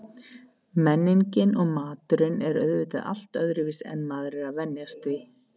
Menningin og maturinn er auðvitað allt öðruvísi en maður er að venjast því.